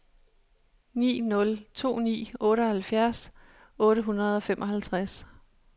ni nul to ni otteoghalvfjerds otte hundrede og femoghalvtreds